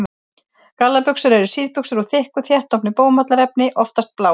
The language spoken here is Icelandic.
Gallabuxur eru síðbuxur úr þykku, þéttofnu bómullarefni, oftast bláu.